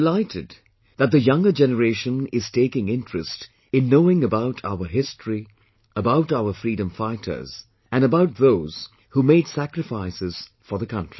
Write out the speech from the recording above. I am delighted that younger generation is taking interest in knowing about our history, about our freedom fighters and about those who made sacrifices for the country